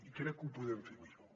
i crec que ho podem fer millor